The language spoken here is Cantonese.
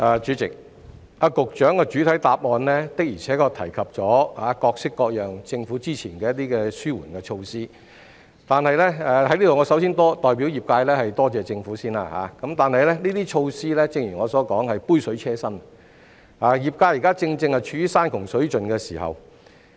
主席，局長在主體答覆中提及政府各式各樣的紓緩措施，我首先代表業界感謝政府，但正如我剛才指出，這些措施只是杯水車薪，業界現正處於山窮水盡的狀況。